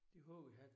Det har vi haft